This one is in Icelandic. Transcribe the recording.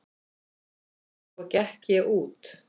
Svo gekk ég út.